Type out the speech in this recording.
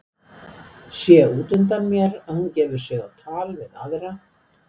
Sé út undan mér að hún gefur sig á tal við aðra.